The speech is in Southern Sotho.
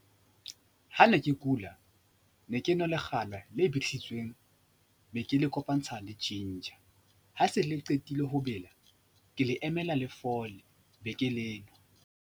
Ha ne ke kula ne ke nwa lekgala le bidisitsweng be ke le kopantsha le ginger, ha se le qetile ho bela, ke le emela le fole be ke le nwa.